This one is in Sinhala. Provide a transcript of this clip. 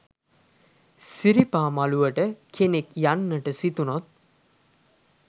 සිරිපා මළුවට කෙනෙක් යන්නට සිතුනොත්